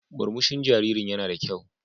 Murmushin jaririn yana da kyau.